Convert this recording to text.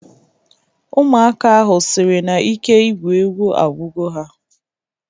Ụmụaka ahụ sịrị na ike igwu egwu agwugo ha